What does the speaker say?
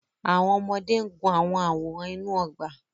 Àwọn ọmọdé ń gun àwọn àwòrán inú ọgbà.